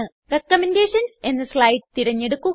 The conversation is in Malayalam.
റികമെൻഡേഷൻസ് എന്ന സ്ലൈഡ് തിരഞ്ഞെടുക്കുക